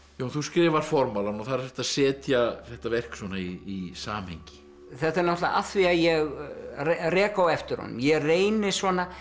Jón þú skrifar formálann og þar ertu að setja þetta verk svona í samhengi þetta er náttúrulega af því að ég rek á eftir honum ég reyni svona